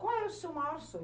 Qual é o seu maior sonho?